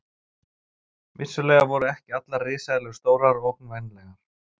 Vissulega voru ekki allar risaeðlur stórar og ógnvænlegar.